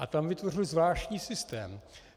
A tam vytvořili zvláštní systém.